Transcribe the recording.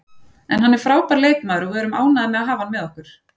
En hann er frábær leikmaður og við erum ánægðir með að hafa hann með okkur.